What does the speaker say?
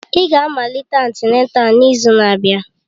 Ị ga-amalite antịnátál n'izu na-abịa!